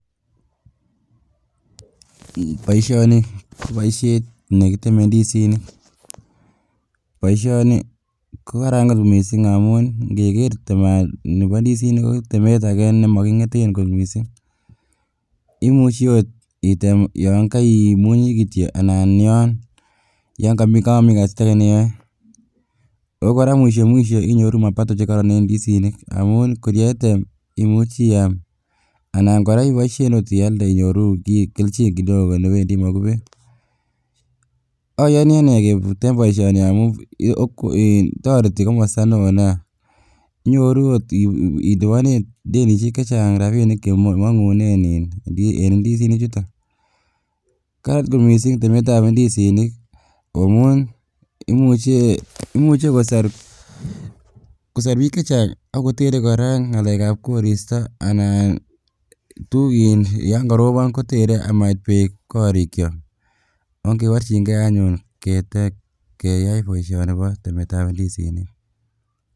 Boishoni ko boishet nekiteme indisinik, boishono ko kaaran kot missing ikeker teman nii bo indisinik ko temet ake nemokingeten kot missing imich okot item yon koimunyi kityok anan yon komokomii kasit age ne iyoe. Okoraa mwisho mwisho inyoru mapato chekoron en indisinik amun kor ketem imuchi iam anan koraa iboisheni ot ialde inyorunen keljin kidogo newendii en mokubet. Oyoni inee en boishoni amun toreti komsto neo nia inyoruu okot iliponen tenishek chechang rabinik chemongunen en indisinik chutok. Karan kot missing temet ab indisinik amun imuche imuche kosor kosor bik che chang akotere koraa ngalek ab koristo anan tuk in yon korobo kotere komait beek korik kyok, ogeborjin gee anyun keyai bpishoni bo temet ab indisinik.